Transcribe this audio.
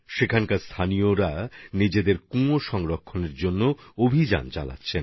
সেখানে স্থানীয় মানুষ নিজেদের কুয়ো সংরক্ষণের জন্য অভিযান চালিয়েছেন